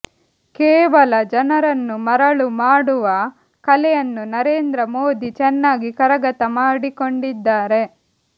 ಕೇವಲ ಜನರನ್ನು ಮರಳು ಮಾಡುವ ಕಲೆಯನ್ನು ನರೇಂದ್ರ ಮೋದಿ ಚೆನ್ನಾಗಿ ಕರಗತ ಮಾಡಿಕೊಂಡಿದ್ದಾರೆ